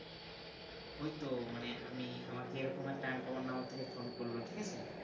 ওই তো মানে আমি আমাকে এরকম একটা uncommon number থেকে phone করলো ঠিক আছে